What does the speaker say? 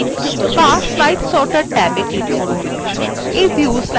বা slide sorter ট্যাবে click করুন